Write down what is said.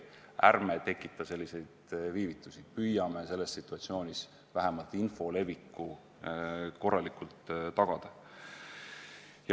Ärme tekitame selliseid viivitusi, püüame selles situatsioonis vähemalt info leviku korralikult tagada.